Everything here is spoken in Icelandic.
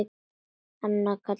Allt annað var kallað rosti.